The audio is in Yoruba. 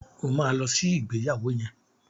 O ma lọ sí ìgbéyàwó yẹn!